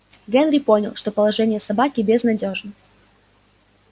генри понял что положение собаки безнадёжно